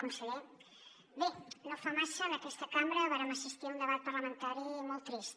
conseller no fa massa en aquesta cambra vàrem assistir a un debat parlamentari molt trist